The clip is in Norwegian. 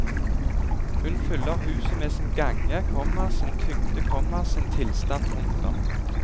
Hun fyller huset med sin gange, komma sin tyngde, komma sin tilstand. punktum